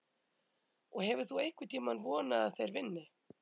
Og hefur þú einhvern tímann vonað að þeir vinni?